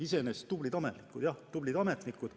Iseenesest tublid ametnikud, jah, tublid ametnikud.